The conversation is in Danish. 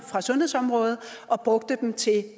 fra sundhedsområdet og brugte dem til